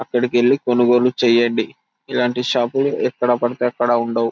అక్కడికి వెళ్లి కొనుగోలు చేయండి ఇలాంటి షాపింగ్ ఎక్కడపడితే అక్కడ ఉండవు.